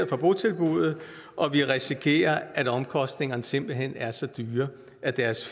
fra botilbuddet og vi risikerer at omkostningerne simpelt hen er så dyre at deres